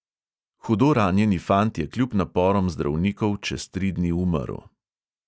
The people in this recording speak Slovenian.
Hudo ranjeni fant je kljub naporom zdravnikov čez tri dni umrl.